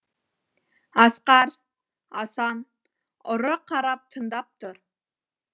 асқар асан ұры қарап тыңдап тұр